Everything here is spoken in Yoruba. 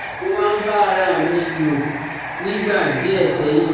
Mo máa ń bá ara à mi lò nígbà díẹ̀ sẹ́yìn